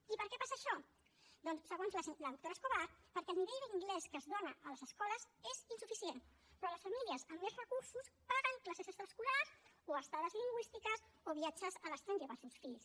i per què passa això doncs segons la doctora escobar perquè el nivell d’anglès que es dona a les escoles és insuficient però les famílies amb més recursos paguen classes extraescolars o estades lingüístiques o viatges a l’estranger per als seus fills